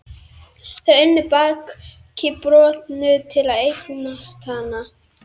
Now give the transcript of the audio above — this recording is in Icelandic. Þau unnu baki brotnu til að eignast hana.